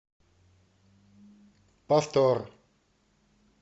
повтор